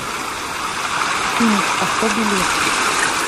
имидж авто билет